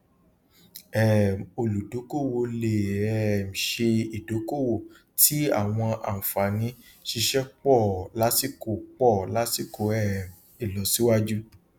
um olùdókòwò lè um ṣe ìdókòwò tí àwọn ànfààní ṣíṣẹ pọ lásìkò pọ lásìkò um ilosiwaju